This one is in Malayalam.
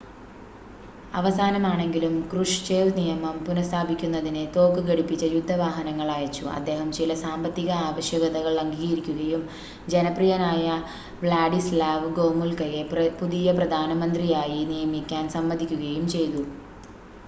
അവസാനം ആണെങ്കിലും ക്രുഷ്ചേവ് നിയമം പുനഃസ്ഥാപിക്കുന്നതിന് തോക്ക് ഘടിപ്പിച്ച യുദ്ധ വാഹനങ്ങൾ അയച്ചു അദ്ദേഹം ചില സാമ്പത്തിക ആവശ്യകതകൾ അംഗീകരിക്കുകയും ജനപ്രിയനായ വ്ളാഡിസ്ലാവ് ഗോമുൽക്കയെ പുതിയ പ്രധാനമന്ത്രിയായി നിയമിക്കാൻ സമ്മതിക്കുകയും ചെയ്തു